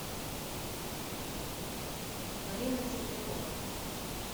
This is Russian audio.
марина теплякова